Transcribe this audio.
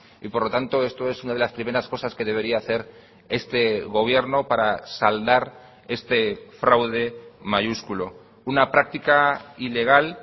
y por lo tanto esto es una de las primeras cosas que debería hacer este gobierno para saldar este fraude mayúsculo una práctica ilegal